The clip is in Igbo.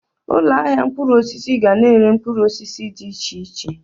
Ụlọ ahịa mkpụrụ osisi ga-na ere mkpụrụ osisi dị iche iche